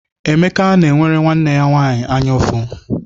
Emeka na-enwere nwanne ya nwaanyị anya ụfụ.